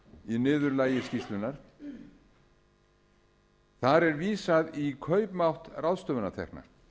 í niðurlagi skýrslunnar þar er vísað í kaupmátt ráðstöfunartekna